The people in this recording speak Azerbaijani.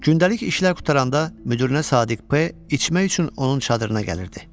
Gündəlik işlər qutaranda müdirinə Sadiq P içmək üçün onun çadırına gəlirdi.